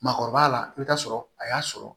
Maakɔrɔba la i bɛ taa sɔrɔ a y'a sɔrɔ